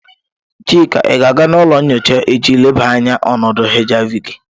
Chika, I ga-aga n'ulo nyocha echi leba anya onodu HIV gi!